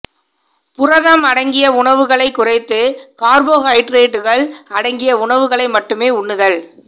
புரதம் அடங்கிய உணவுகளைக் குறைத்து கார்போஹைட்ரோட்டுகள் அடங்கிய உணவுகளை மட்டுமே உண்ணுதல்